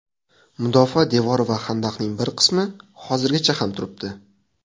Mudofaa devori va xandaqlarning bir qismi hozirgacha ham turibdi.